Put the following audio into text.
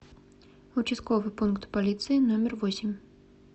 участковый пункт полиции номер восемь